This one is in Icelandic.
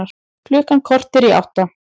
Klukkan korter í átta